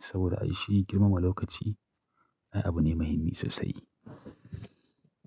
saboda ai shi girmama lokaci ai abu ne muhimmi sosai.